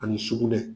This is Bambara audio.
Ani sukunɛ